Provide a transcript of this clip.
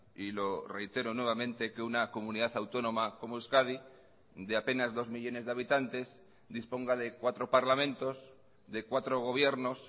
y lo reitero nuevamente que una comunidad autónoma como euskadi de apenas dos millónes de habitantes disponga de cuatro parlamentos de cuatro gobiernos